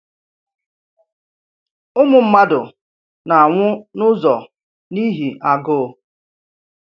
Ụmụ mmadụ na-anwụ n’ụzọ n’ihi agụụ.